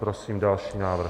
Prosím další návrh.